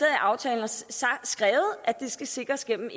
i aftalen at de skal sikres gennem